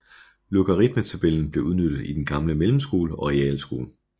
Logaritmetabellen blev benyttet i den gamle Mellemskole og Realskole